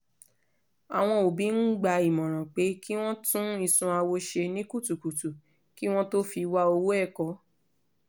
àwọn òbí ń gba ìmọ̀ràn pé kí wọ́n tún isunawo ṣe ní kutukutu kí wọ́n tó fi wá owó ẹ̀kọ́